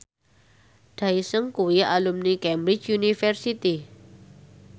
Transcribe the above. Daesung kuwi alumni Cambridge University